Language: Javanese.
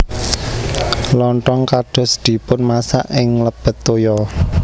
Lontong kados dipunmasak ing nglebet toya